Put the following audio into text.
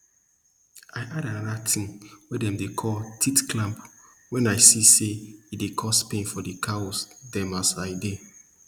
i add anoda ting we dem dey call teat clamp wen i see say e dey cause pain for di cow dem as i dey